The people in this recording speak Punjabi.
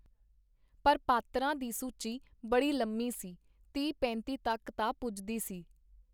ਪਰ ਪਾਤਰਾਂ ਦੀ ਸੂਚੀ ਬੜੀ ਲੰਮੀ ਸੀ - ਤੀਹ-ਪੇਂਤੀ ਤੱਕ ਜਾ ਪੁਜਦੀ ਸੀ.